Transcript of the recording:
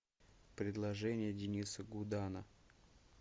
предложение дениса гудана